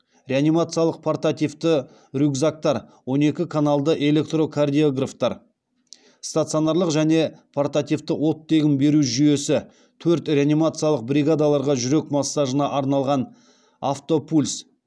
реанимациялық портативті рюкзактар он екі каналды электрокардиографтар стационарлық және портативті оттегін беру жүйесі төрт реанимациялық бригадаларға жүрек массажына арналған автопульс